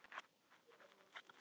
Fyrsti leikur sem þú spilaðir?